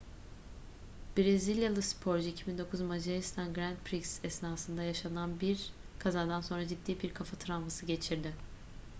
brezilyalı sporcu 2009 macaristan grand prix esnasında yaşanan bir kazadan sonra ciddi bir kafa travması geçirdi